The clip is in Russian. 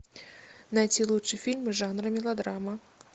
найти лучший фильм жанра мелодрама